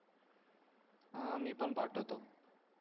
हां मी पण पाठवतो